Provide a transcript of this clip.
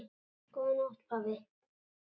Góða nótt pabbi.